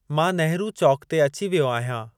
मां नेहरु चौक ते अची वियो आहियां।